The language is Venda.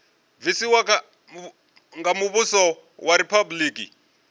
bvisiwa nga muvhuso wa riphabuliki